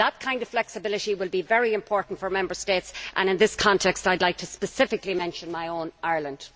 That kind of flexibility will be very important for Member States and, in this context, I would like to specifically mention my own country, Ireland.